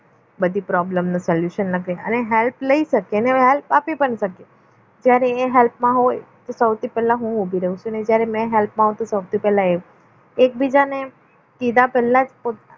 બધી problem solution અને help અને help આપી પણ શકીએ ત્યારે એ help હોય તો સૌથી પહેલા હું ઉભી રહું ને જ્યારે મેં help આવતી સૌથી પહેલા એ એકબીજાને કીધા પહેલા જ પોત